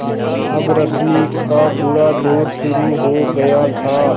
अब रश्मि का बुरा दौर शुरू हो गया था